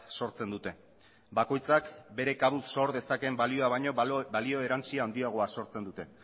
sortzen dute bakoitzak bere kabuz sor dezaken balioa baino balio erantsi handiagoa sortzen dute